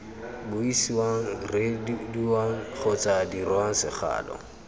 buisiwang reediwang kgotsa dirwang segalo